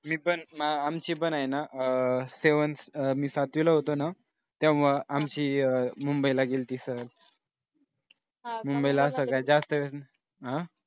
मी पण आमचे पण आहे ना seventh मी सातवीला होतो ना तेव्हा आमची अह मुंबईला गेली होती सहल मुंबईला सगळ्यात जास्त अह